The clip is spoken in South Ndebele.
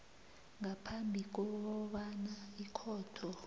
ngaphambi kobana ikhotho